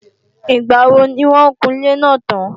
Ìgbàwo ni wọ́n o kun ilé náà tán